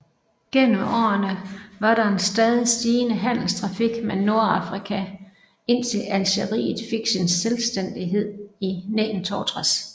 Gennem årene var der en stadig stigende handelstrafik med Nordafrika indtil Algeriet fik sin selvstændighed i 1962